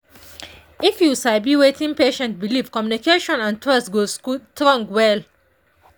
if you sabi wetin patient believe communication and trust go strong well.